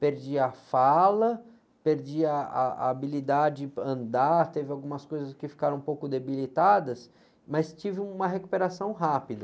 perdi a fala, perdi ah, a habilidade de andar, teve algumas coisas que ficaram um pouco debilitadas, mas tive uma recuperação rápida.